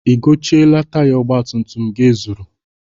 I gochieela taya ọgbatumtum gị e zuru?